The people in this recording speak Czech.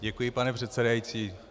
Děkuji, pane předsedající.